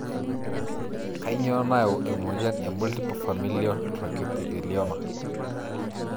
Kanyio nayau emoyian e multiple familial trichoepithelioma?